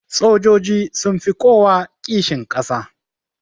Sojoji sunfi kowa kishin kasa